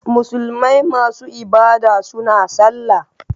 Musulmai masu ibada suna sallah